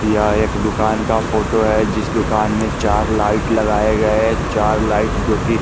यह एक दुकान का फोटो है जिस दुकान में चार लाइट लगाये गये चार लाइट जो की--